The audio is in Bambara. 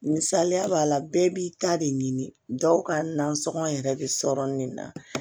Misaliya b'a la bɛɛ b'i ta de ɲini dɔw ka nasɔngɔ yɛrɛ bɛ sɔrɔ nin na